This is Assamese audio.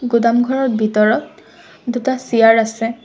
গুদামঘৰৰ ভিতৰত দুটা চিয়াৰ আছে।